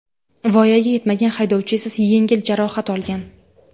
Voyaga yetmagan haydovchi esa yengil jarohatlar olgan.